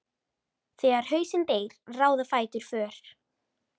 Þegar hausinn deyr ráða fætur för.